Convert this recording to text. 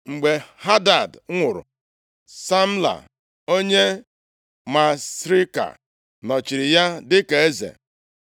Mgbe Hadad nwụrụ, Samla onye Masrika nọchiri ya dịka eze.